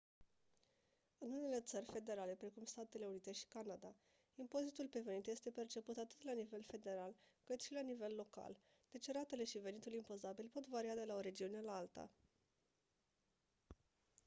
în unele țări federale precum statele unite și canada impozitul pe venit este perceput atât la nivel federal cât și la nivel local deci ratele și venitul impozabil pot varia de la o regiune la alta